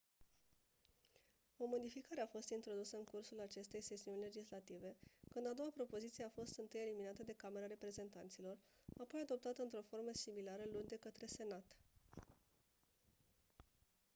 o modificare a fost introdusă în cursul acestei sesiuni legislative când a doua propoziție a fost întâi eliminată de camera reprezentanților apoi adoptată într-o formă similară luni de către senat